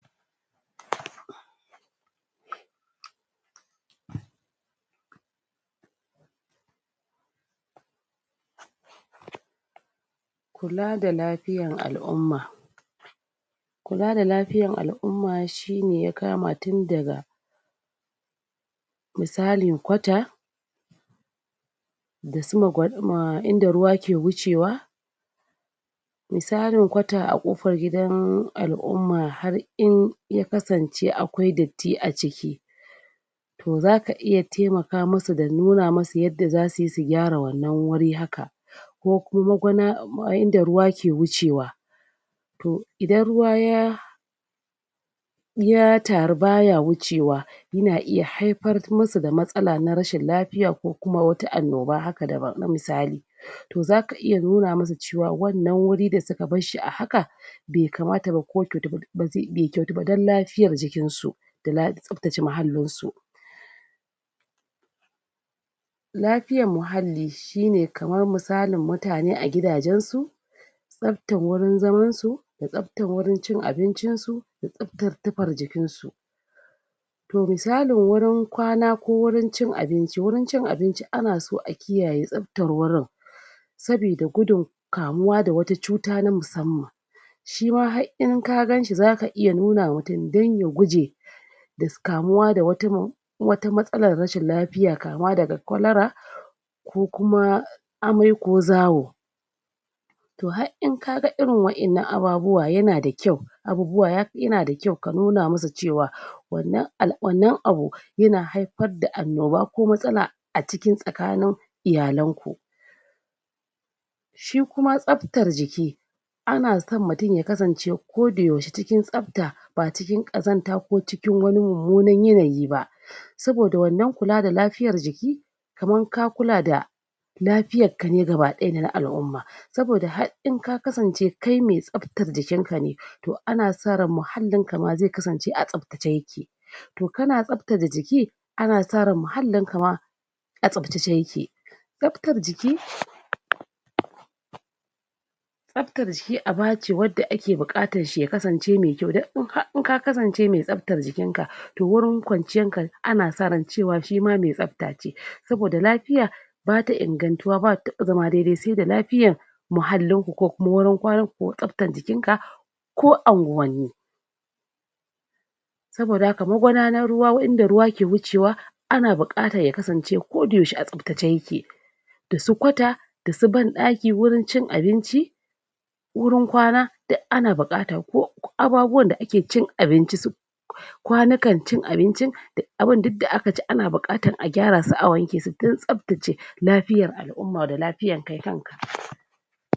PAUSE PAUSE PAUSE PAUSE Kula da lafiyan al'umma kula da lafiyan al'umma shi ne ya kama tun daga misalin kwata dasu magwa.... inda ruwa yake wucewa misalin kwata a kofan gidan alumma, har in ya kasance akwai datti a ciki i to zaka iya taimaka masu da nuna musu yanda zasu gyara wannan wuri haka kukuma gwana... inda ruwa ke wucewa to, idan ruwa ya ya taru baya wucewa yana iya haifar musu da wata matsala na rashin lafiya, kokuma wata annoba haka daba... na misali to zaka iya nuna musu cewa wannan guri da suka barshi a haka bai kamata ba ko bai bai kyautu ba dan lafiyan jikinsu da la... tsaftace muhallin su lafiyan muhalli shi ne kaman misalin mutane a gidanjensu tsabtan wurin zamansu a tsafta wajen cin abinsu da tsabtar tufar jikinsu to misalin wurin kwana, ko wurin cin abinci, wurin cin ainci ana so a kiyaye tsaftar wurin sabida gudun kamuwa da wata cuta na musamman shima har in ka ganshi zaka iya nunawa mutun dan ya guje das kamuwa da wata min wata matsala rashin lafiya kama daga kolera ko kuma amai ko zawo to har in kaga irin waddan nan ababuwa yana da kyau abubuwa ya.. yana da kyau ka nuna musu cewa wannan al wannan abu yana haifar da anoba ko matsala a cikin tsakanin iyalanku. Shikuma tsaftar jiki ana son mutun ya kasance ko da yaushe cikin tsafta ba a cikin kazanta ko cikin wani mumuna yana yi ba saboda wannan kula da lafiyar jiki kaman ka kula da lafiyar kane gaba daya dana al`umma saboda har in aka kasance kai me tsaftar jikin ka ne to ana sa ran muhallin ka ma zai kasance a tsaftace yake to kana tsaftace jiki ana sa ran muhallin ka ma a tsaftace ya ke. Tsaftan jiki tsafta jiki abace wadda ake bukata shi ya kasance mai kyua, dan in ha in ka kasance mai tsaftar jikin ka to wurin kwanciyanka ana sa ran shima mai tsafatace, saboda lafiya bata ingantuwa bata taba zama daidai saida lafiyan muhallinku, ko kuma gurin kwananku, ko tsaftan jikin ka ko anguwanni saboda haka magudanar ruwa, wurin da ruwaya yake wucewa ana bukatan ya kasance wurin a tsaftace ake dassu kauta, dasu ban-daki, wurin cin abinci wurin kwana duk ana bukatan ko ababuwan da ake cin abinci su kwanikan cin abinci duk abin duk da aka ci ana bukata a gyara su a wanke su dan tsaftace lafiyar al`umma da lafiyar ki kan ka